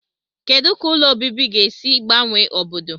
Kedu ka ụlọ obibi ga-esi gbanwe obodo?